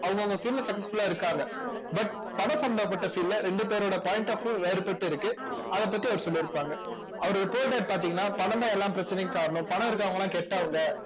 அவங்கவங்க field ல successful ஆ இருக்காங்க but பணம் சம்பந்தப்பட்ட field ல ரெண்டு பேரோட point of view வேறுபட்டு இருக்கு அதைப் பத்தி அவர் சொல்லியிருப்பாங்க அவர் ஒரு பாத்தீங்கன்னா பணம்தான் எல்லா பிரச்சனைக்கும் காரணம் பணம் இருக்கிறவங்கெல்லாம் கெட்டவங்க